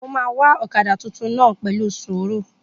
Mo máa wa ọ̀kadà tuntun náà pẹ̀lú sùúrù